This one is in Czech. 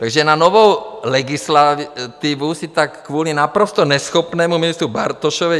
Takže na novou legislativu si tak kvůli naprosto neschopnému ministru Bartošovi...